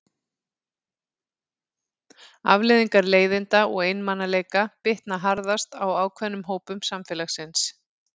Afleiðingar leiðinda og einmanaleika bitna harðast á ákveðnum hópum samfélagsins.